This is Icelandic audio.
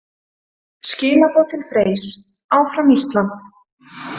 Skilaboð til Freys: Áfram Ísland!